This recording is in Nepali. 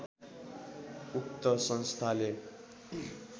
उक्त संस्थाले